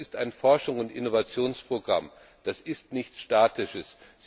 Das ist ein Forschungs und Innovationsprogramm, das ist nichts Statisches.